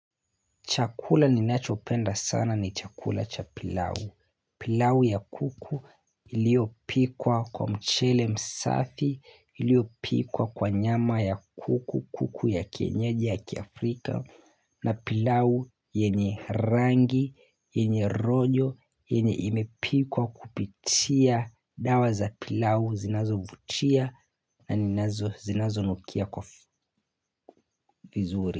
Chakula ni nachopenda sana ni chakula cha pilau. Pilau ya kuku iliyopikwa kwa mchele msafi, iliyopikwa kwa nyama ya kuku, kuku ya kienyeji ya kiafrika na pilau yenye rangi, yenye rojo, yenye imepikwa kupitia dawa za pilau zinazo vutia na zinazo nukia kwa vizuri.